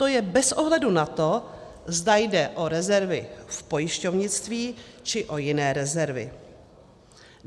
To je bez ohledu na to, zda jde o rezervy z pojišťovnictví, či o jiné rezervy.